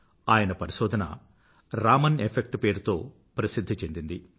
ఆయన పరిశోధన రామన్ ఎఫెక్ట్ పేరుతో ప్రసిధ్ధి చెందింది